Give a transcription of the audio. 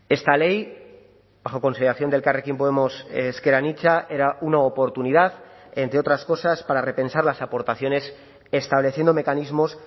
esta ley bajo consideración de elkarrekin podemos ezker anitza era una oportunidad entre otras cosas para repensar las aportaciones estableciendo mecanismos